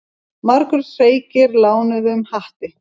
Margur hreykir lánuðum hatti.